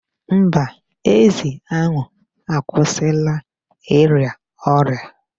Mba, ezi ahu akwụsịla ịrịa ọrịa.